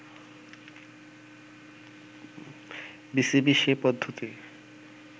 BCB সে পদ্ধতি